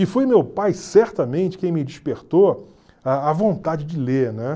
E foi meu pai, certamente, quem me despertou a a vontade de ler, né?